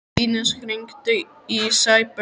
Ínes, hringdu í Sæberg.